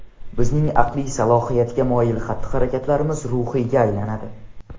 Bizning aqliy salohiyatga moyil xatti–harakatlarimiz ruhiyga aylanadi.